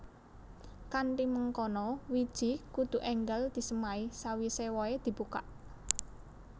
Kanthi mangkono wiji kudu énggal disemai sawisé wohé dibukak